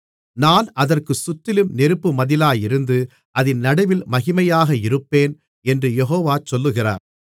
நான் அதற்குச் சுற்றிலும் நெருப்பு மதிலாயிருந்து அதின் நடுவில் மகிமையாக இருப்பேன் என்று யெகோவா சொல்லுகிறார்